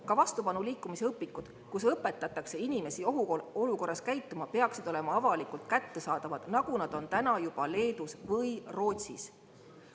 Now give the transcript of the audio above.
Ka vastupanuliikumise õpikud, milles õpetatakse inimesi ohuolukorras käituma, peaksid olema avalikult kättesaadavad, nagu nad on täna juba Leedus või Rootsis.